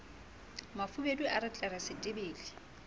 mafubedu a re tlere setebele